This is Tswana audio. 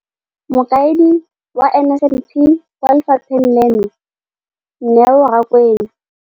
Mokaedi wa NSNP kwa lefapheng leno, Neo Rakwena,